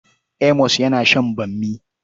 Amos yana sha bammi.